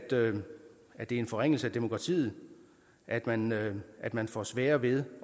det er en forringelse af demokratiet at man at man får sværere ved